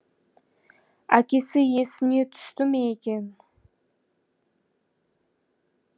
әкесі есіне түсті ме екен